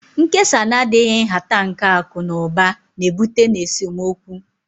Nkesa na-adịghị nhata nke akụ na ụba na-ebute n'esemokwu